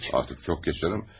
Artıq çox keçəcək.